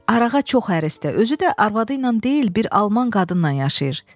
Arağa çox hərisdir, özü də arvadı ilə deyil, bir alman qadınla yaşayır.